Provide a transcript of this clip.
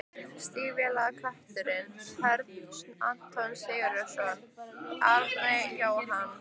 Stígvélaði kötturinn: Hörður, Anton Sigurðsson, Árni, Jóhann